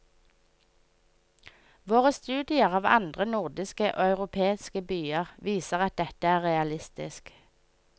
Våre studier av andre nordiske og europeiske byer viser at dette er realistisk.